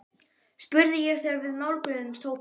spurði ég þegar við nálguðumst hópinn.